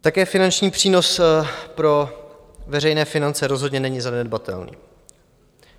Také finanční přínos pro veřejné finance rozhodně není zanedbatelný.